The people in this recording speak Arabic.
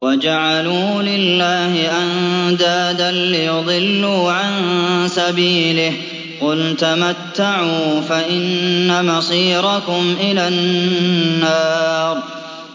وَجَعَلُوا لِلَّهِ أَندَادًا لِّيُضِلُّوا عَن سَبِيلِهِ ۗ قُلْ تَمَتَّعُوا فَإِنَّ مَصِيرَكُمْ إِلَى النَّارِ